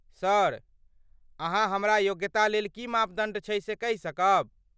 Sir, अहाँ हमरा योग्यता लेल की मापदण्ड छै से कहि सकब?